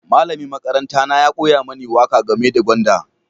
Malamin makaranta na ya koya mini waƙa game da gwanda.